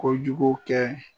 Kojugu kɛ